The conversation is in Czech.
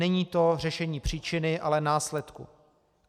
Není to řešení příčiny, ale následku.